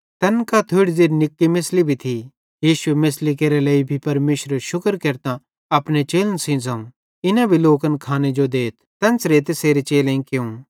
तैन कां थोड़ी ज़ेरि निक्की मेछ़ली भी थी यीशुए मेछ़ली केरे लेइ भी परमेशरेरू शुक्र केरतां अपने चेलन सेइं ज़ोवं इना भी लोकन खाने जो देथ तेन्च़रां तैसेरे चेलेईं कियूं